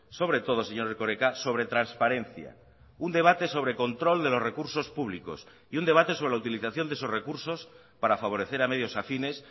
sobre todo señor erkoreka sobre transparencia un debate sobre control de los recursos públicos y un debate sobre la utilización de esos recursos para favorecer a medios afines